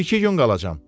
bir-iki gün qalacam.